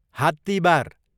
हात्तिबार